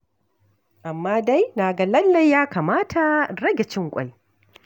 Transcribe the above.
Amma dai na ga lallai ya kamata in rage cin ƙwai.